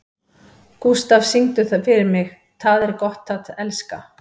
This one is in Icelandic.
Gústaf, syngdu fyrir mig „Tað er gott at elska“.